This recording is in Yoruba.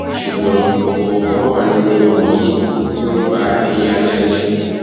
ṣùgbọn kòkòrò kan wà nínú ọrọ yìí tó ba ẹyin ajá jẹ